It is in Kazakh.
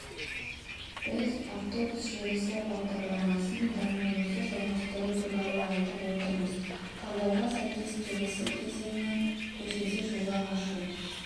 біз автобус желісі бағдарламасын дамуымызды жалғастыру туралы айтып отырмыз талдауға сәйкес келесі кезеңі көшеда жолақ ашу